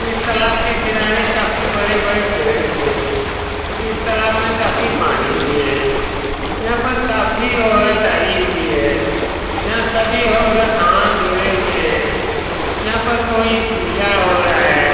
इस तालाब के किनारे काफी बड़े-बड़े पेड़ भी है इस तालाब में काफी पानी भी है यहाँ पर काफी औरत आई हुई है यहाँ सभी औरत हाथ जोड़े हुए है यहाँ पर कोई पूजा हो रहा है।